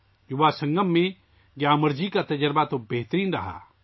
یواا سنگم میں گیامر جی کا تجربہ شاندار رہا